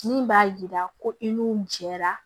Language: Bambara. Min b'a yira ko i n'u jɛra